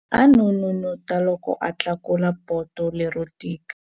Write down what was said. A n'unun'uta loko a tlakula poto lero tika.